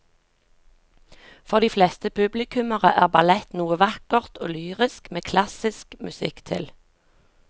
For de fleste publikummere er ballett noe vakkert og lyrisk med klassisk musikk til.